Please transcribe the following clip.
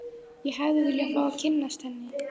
Ég hefði viljað fá að kynnast henni.